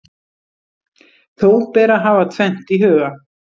Þó ber að hafa tvennt í huga.